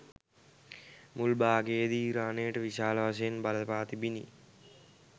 මුල් භාගයේදී ඉරානයට විශාල වශයෙන් බලපා තිබිණි